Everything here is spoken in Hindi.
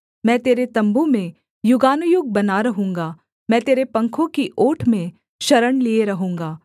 मैं तेरे तम्बू में युगानुयुग बना रहूँगा मैं तेरे पंखों की ओट में शरण लिए रहूँगा सेला